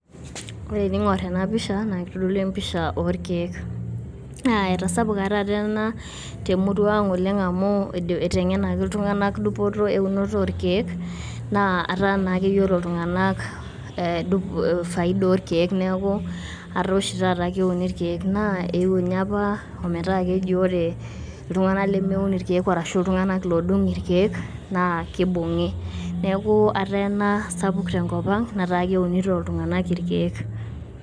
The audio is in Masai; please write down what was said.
Ore tening`or ena pisha naa kitodolu empisha oo ilkiek. Naa etasapuka taata ena te murua ang oleng amu keiteng`enaki iltung`anak dupoto o eunoto oo ilkiek. Naa etaa naa keyiolo iltung`anak e dup faida oo ilkiek. Niiaku etaa oshi taata keuni ilkiek naa eeu ninye apa metaa keji ore iltung`anak lemeun ilkiek arashu iltung`anak oodung ilkiek naa keibung`i. Niaku etaa ena sapuk tenkop ang netaa keunito iltung`anak ilkiek.